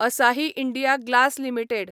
असाही India glass limited